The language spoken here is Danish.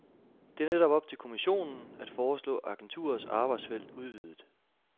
Det er netop op til kommissionen, at foreslå agenturets arbejdsfelt udvidet.